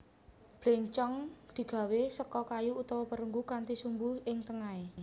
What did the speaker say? Bléncong digawé seka kayu utawa perunggu kanthi sumbu ing tengahé